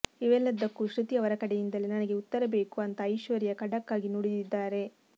ಇವೆಲ್ಲದಕ್ಕೂ ಶೃತಿ ಅವರ ಕಡೆಯಿಂದಲೇ ನನಗೆ ಉತ್ತರ ಬೇಕು ಅಂತ ಐಶ್ವರ್ಯಾ ಖಡಕ್ ಆಗಿ ನುಡಿದಿದ್ದಾರೆ